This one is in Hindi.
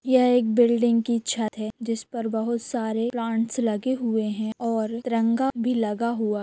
यह एक बिल्डिग की छत है जिसमे बहुत सारे प्लांट्स लगे हुए है और तिरंगा भी लगा हुआ --